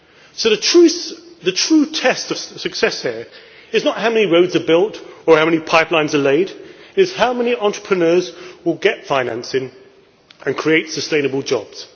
So the true test of success here is not how many roads are built or how many pipelines are laid, but it is how many entrepreneurs will get financing and create sustainable jobs.